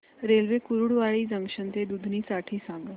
railway Kurduwadi junction ते दुधनी साठी सांगा